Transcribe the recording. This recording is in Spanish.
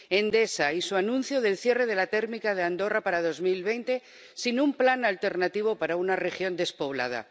Endesa y su anuncio del cierre de la térmica de Andorra para 2020, sin un plan alternativo para una región despoblada.